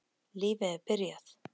Lífið er byrjað.